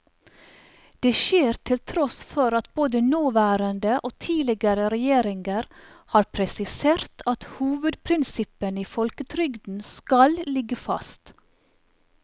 Det skjer til tross for at både nåværende og tidligere regjeringer har presisert at hovedprinsippene i folketrygden skal ligge fast.